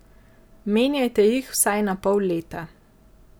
Menjajte jih vsaj na pol leta.